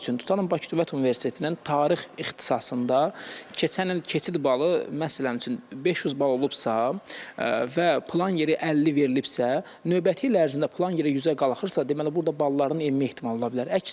Misal üçün, tutalım Bakı Dövlət Universitetinin Tarix ixtisasında keçən il keçid balı məsələn üçün 500 bal olubsa və plan yeri 50 verilibsə, növbəti il ərzində plan yeri 100-ə qalxırsa, deməli burda balların enmə ehtimalı ola bilər.